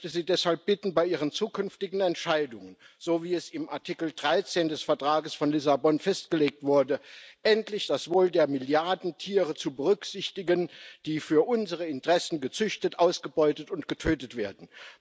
Ich möchte Sie deshalb bitten, bei Ihren zukünftigen Entscheidungen, so wie es im Artikel 13 des Vertrages von Lissabon festgelegt wurde, endlich das Wohl der Milliarden Tiere zu berücksichtigen, die für unsere Interessen gezüchtet, ausgebeutet und getötet werden.